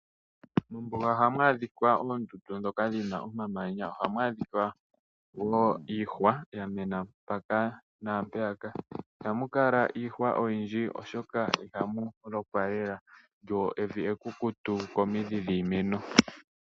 Mombuga ohamu adhika oondundu ndhoka dhina omamanya, ohamu adhika wo iihwa yamena mpaka naampeyaka ihamu kala iihwa oyindji oshoka ihamu lokwa lele lyo evi ekukutu komindhi dhiimeno.